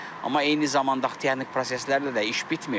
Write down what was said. Amma eyni zamanda texniki proseslərlə də iş bitmir.